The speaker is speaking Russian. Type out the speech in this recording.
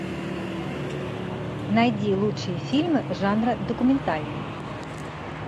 найди лучшие фильмы жанра документальный